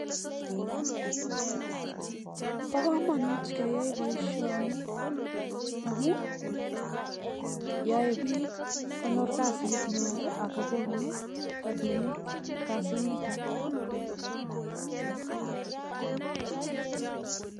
paakamun keaii poishoni amun ae piik kokachige poishonik